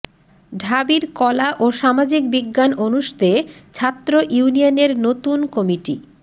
ঢাবির কলা ও সামাজিক বিজ্ঞান অনুষদে ছাত্র ইউনিয়নের নতুন কমিটি